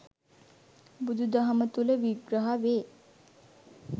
බුදු දහම තුළ විග්‍රහ වේ.